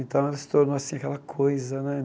Então, ela se tornou, assim, aquela coisa, né?